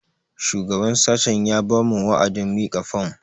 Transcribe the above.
Shugaban sashen ya ba mu wa'adin mika fom